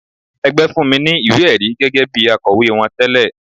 Ẹgbẹ́ fún mi ní ìwé-ẹ̀rí gẹ́gẹ́ bí akọ̀wé wọn tẹle.